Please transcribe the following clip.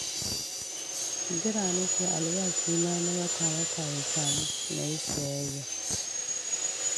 Jira nake albashina na wata-wata ya samu na yi sayayya